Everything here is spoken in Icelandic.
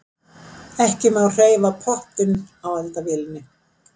ekki má hreyfa pottinn á eldavélinni